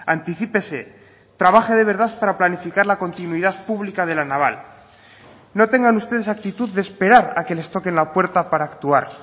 anticípese trabaje de verdad para planificar la continuidad pública de la naval no tengan ustedes actitud de esperar a que les toquen la puerta para actuar